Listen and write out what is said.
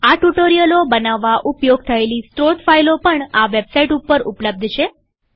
આ ટ્યુ્ટોરીઅલો બનાવવા ઉપયોગ થયેલી સ્ત્રોત ફાઈલો પણ આ વેબસાઈટ ઉપર ઉપલબ્ધ છે